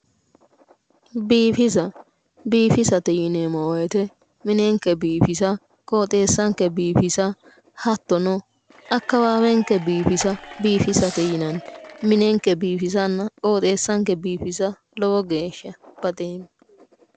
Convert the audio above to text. Biifisa, biifisate yineemmo woyte minenke biifisa qooxeessanke biifisa hattono akkawaawenke biifisa biifisate yinanni. minenke biifisa qooxeessanke biifisa lowo geeshsha baxeemma